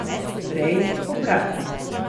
Prej obratno.